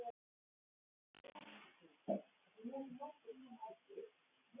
Hann væri líklega búinn að sjá alveg nóg.